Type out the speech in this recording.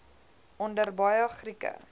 onder baie grieke